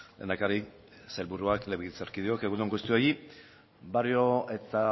lehendakari sailburuak legebiltzarkideok egun on guztioi barrio eta